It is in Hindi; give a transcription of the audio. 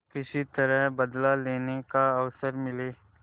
किसी तरह बदला लेने का अवसर मिले